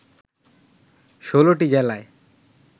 ১৬টি জেলায়